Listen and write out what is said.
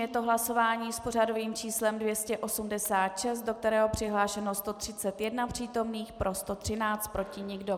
Je to hlasování s pořadovým číslem 286, do kterého přihlášeno 131 přítomných, pro 113, proti nikdo.